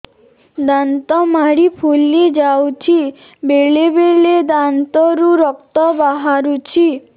ଦାନ୍ତ ମାଢ଼ି ଫୁଲି ଯାଉଛି ବେଳେବେଳେ ଦାନ୍ତରୁ ରକ୍ତ ବାହାରୁଛି